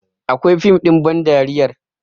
Akwai fim ɗin bandariyar